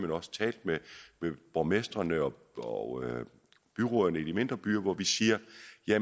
også talt med borgmestrene og byrødderne i de mindre byer hvor vi siger